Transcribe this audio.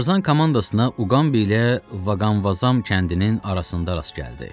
Tarzan komandasına Uqambi ilə Vaqanvazam kəndinin arasında rast gəldi.